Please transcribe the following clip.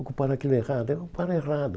Ocupar aquilo é errado, é ocupar errado.